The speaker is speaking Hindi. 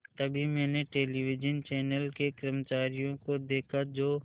तभी मैंने टेलिविज़न चैनल के कर्मचारियों को देखा जो